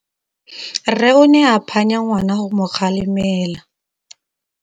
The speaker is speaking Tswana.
Rre o ne a phanya ngwana go mo galemela.